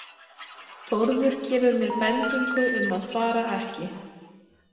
Þórður gefur mér bendingu um að fara ekki.